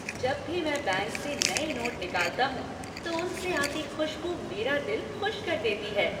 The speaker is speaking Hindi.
जब भी मैं बैंक से नए नोट निकालता हूँ तो उनसे आती खुशबू मेरा दिल खुश कर देती है।